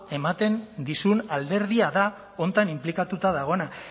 ematen dizun alderdia da honetan inplikatuta dagoena